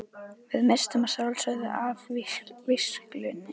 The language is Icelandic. Við misstum að sjálfsögðu af vígslunni.